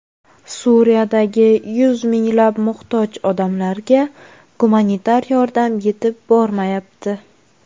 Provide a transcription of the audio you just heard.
Suriyadagi yuz minglab muhtoj odamlarga gumanitar yordam yetib bormayapti.